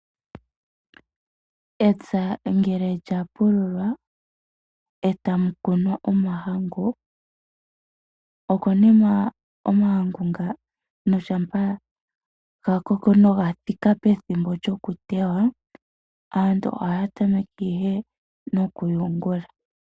Epya ngele lya pululwa eta mu kunwa omahangu, okonima omahangu ngano shampa ga koko etaga thiki pethimbo lyoku tetwa, aantu ohaya tameke ihe nokuyungula.